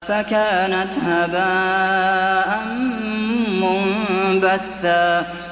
فَكَانَتْ هَبَاءً مُّنبَثًّا